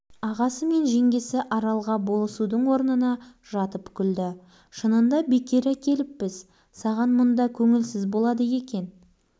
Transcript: осы сәт арал өрістен шұбап қайтқан қалың сиырды күрең атымен тепеңдеп оның соңын айдап келе жатқан тайжан